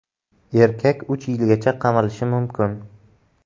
Erkak uch yilgacha qamalishi mumkin.